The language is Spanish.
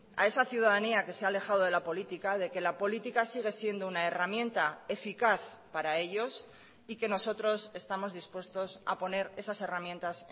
a esa ciudadanía que se ha alejado de la política de que la política sigue siendo una herramienta eficaz para ellos y que nosotros estamos dispuestos a poner esas herramientas